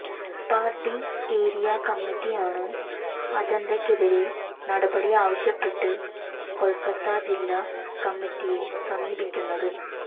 party area കമ്മിറ്റിയാണ് അജന്തക്കെതിരെ നടപടി ആവശ്യപ്പെട്ട് കൊല്ക്കത്ത ജില്ലാ കമ്മിറ്റിയെ സമീപിക്കുന്നത്